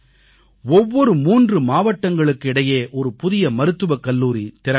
ஒவ்வொரு 3 மாவட்டங்களுக்கு இடையே ஒரு புதிய மருத்துவக் கல்லூரி திறக்கப்படும்